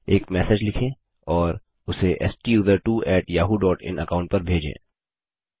एक मैसेज लिखें और उसे STUSERTWO yahooइन अकाऊंट पर भेजें